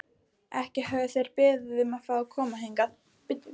Ekki höfðu þeir beðið um að fá að koma hingað.